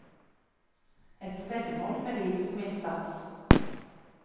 Et veddemål med livet som innsats.